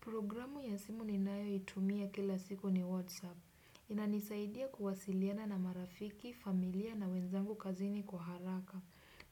Programu ya simu ninayoitumia kila siku ni Whatsapp. Inanisaidia kuwasiliana na marafiki, familia na wenzangu kazini kwa haraka.